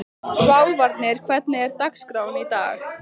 Sváfnir, hvernig er dagskráin í dag?